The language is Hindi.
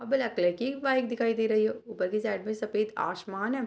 वहाँ ब्लैक कलर की बाइक दिखाई दे रहियो ऊपर के साइड में आसमान है।